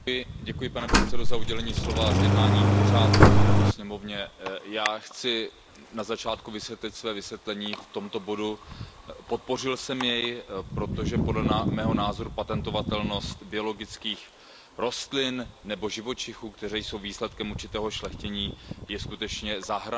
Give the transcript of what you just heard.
Pane předsedající, děkuji za udělení slova a zjednání pořádku v této sněmovně. Já chci na začátku objasnit své vysvětlení v tomto bodu. Podpořil jsem jej, protože podle mého názoru patentovatelnost biologických rostlin nebo živočichů, kteří jsou výsledkem určitého šlechtění, je skutečně za hranou.